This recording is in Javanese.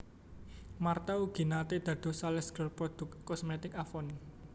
Martha ugi nate dados salesgirl produk kosmetik Avon